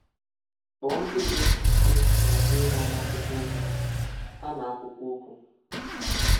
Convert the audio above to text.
Kpọọ nkebiokwu ise ma dee ha n’akwụkwọ okwu. ha n’akwụkwọ okwu.